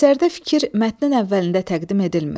Əsərdə fikir mətnin əvvəlində təqdim edilmir.